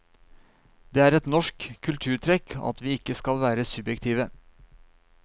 Det er et norsk kulturtrekk at vi ikke skal være subjektive.